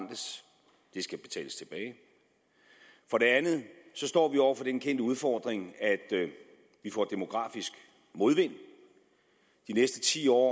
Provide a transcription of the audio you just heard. vi skal betales tilbage for det andet står vi over for den kendte udfordring at vi får demografisk modvind de næste ti år